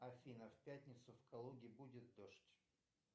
афина в пятницу в калуге будет дождь